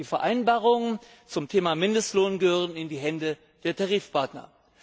Die Vereinbarungen zum Thema Mindestlohn gehören in die Hände der Tarifpartner.